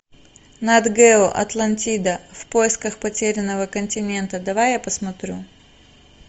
нат гео атлантида в поисках потерянного континента давай я посмотрю